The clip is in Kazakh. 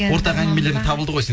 ортақ әңгімелерің табылды ғой